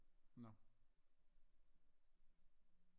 Nå